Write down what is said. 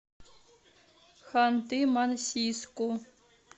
ханты мансийску